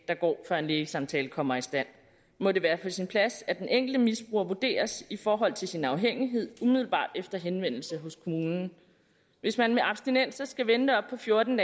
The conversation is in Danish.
der går før en lægesamtale kommer i stand må det være på sin plads at den enkelte misbruger vurderes i forhold til sin afhængighed umiddelbart efter henvendelse hos kommunen hvis man med abstinenser skal vente op til fjorten